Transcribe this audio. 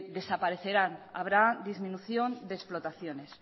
desaparecerán habrá disminución de explotaciones